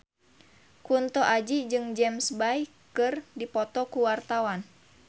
Kunto Aji jeung James Bay keur dipoto ku wartawan